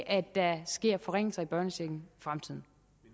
at der sker forringelser i børnechecken i fremtiden